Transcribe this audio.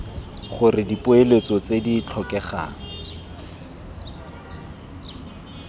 gore dipoeletso tse di tlhokegang